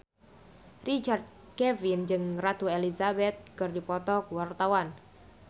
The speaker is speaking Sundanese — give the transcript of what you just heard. Richard Kevin jeung Ratu Elizabeth keur dipoto ku wartawan